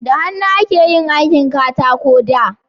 da hannu ake yin aikin katako da